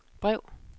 brev